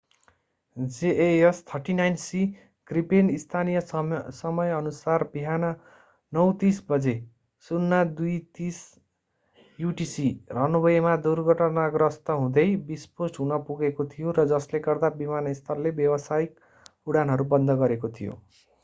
jas 39c Gripen स्थानीय समयअनुसार बिहान 9:30 बजे 0230 utc रनवेमा दुर्घटनाग्रस्त हुँदै विस्फोट हुन पुगेको थियो र जसले गर्दा विमानस्थलले व्यावसायिक उडानहरू बन्द गरेको थियो।